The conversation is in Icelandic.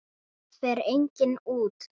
Það fer enginn út!